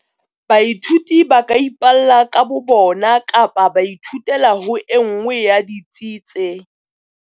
Baithuti ba ka ipalla ka bo bona kapa ba ithutela ho e nngwe ya ditsi tse.